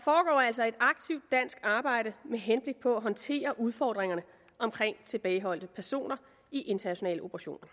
altså et aktivt dansk arbejde med henblik på at håndtere udfordringerne i tilbageholdte personer i internationale operationer